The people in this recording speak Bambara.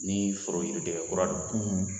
Ni foro yiri den kura don